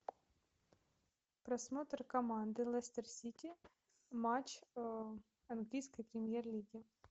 просмотр команды лестер сити матч английской премьер лиги